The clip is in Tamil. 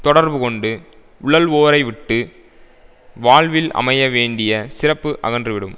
தொடர்பு கொண்டு உழல்வோரைவிட்டு வாழ்வில் அமைய வேண்டிய சிறப்பு அகன்றுவிடும்